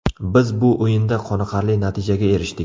Biz bu o‘yinda qoniqarli natijaga erishdik.